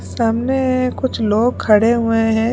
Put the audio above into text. सामनेएए कुछ लोग खड़े हुए हैं।